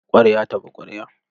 Ƙwarya ta bi ƙwarya.